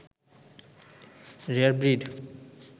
rare breed